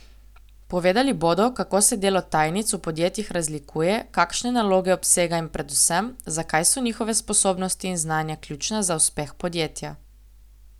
Povedali bodo, kako se delo tajnic v podjetjih razlikuje, kakšne naloge obsega in predvsem, zakaj so njihove sposobnosti in znanja ključna za uspeh podjetja.